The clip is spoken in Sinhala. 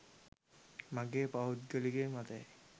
මගේ පෞද්ගලික මතයයි